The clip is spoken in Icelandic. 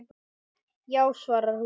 Já, svarar hún.